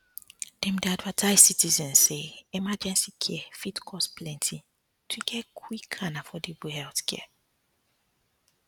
dem dey advise citizens say emergency care fit cost plenty to get quick and affordable healthcare